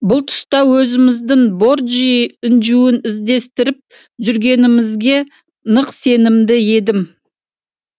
бүл тұста өзіміздің борджий інжуін іздестіріп жүргенімізге нық сенімді едім